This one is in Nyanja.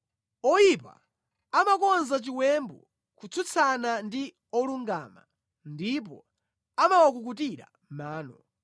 Oyipa amakonza chiwembu kutsutsana ndi olungama ndipo amawakukutira mano;